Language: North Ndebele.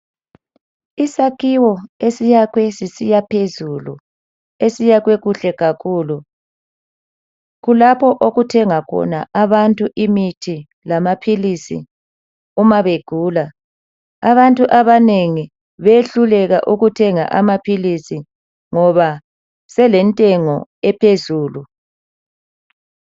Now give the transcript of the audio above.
Isakhiwo esiyakhwe sisiyaphezulu, esiyakhwe kuhle kakhulu kulapho okuthenga khona abantu imithi lamaphilisi uma begula. Abantu abanengi behluleka ukuthenga amaphilisi ngoba selentengo ephezulu.